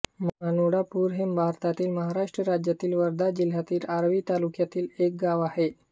मानुळापूर हे भारतातील महाराष्ट्र राज्यातील वर्धा जिल्ह्यातील आर्वी तालुक्यातील एक गाव आहे